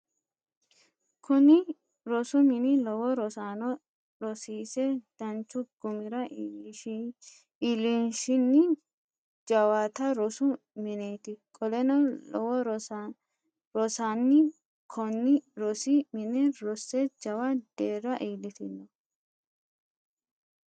kuni rosu mini lowo rosaano rosiise danchu gumira iilishini jawata rosu mineti. qoleno lowo rosaani konni rosi mine rosse jawa deerra iilitino.